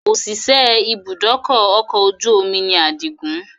Òṣìṣẹ́ ibùdókọ̀ ọkọ̀ ojú omi ni àdìgún